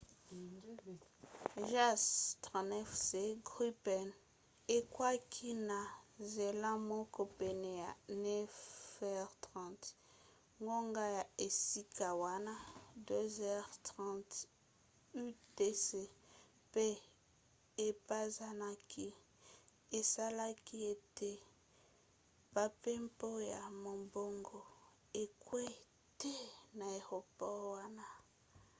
jas 39c gripen ekweaki na nzela moko pene ya 9h30 ngonga ya esika wana 02h30 utc pe epanzanaki esalaki ete bampepo ya mombongo ekwea te na aéroport wana